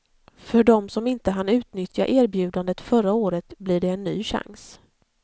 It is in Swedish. För dem som inte hann utnyttja erbjudandet förra året blir det en ny chans.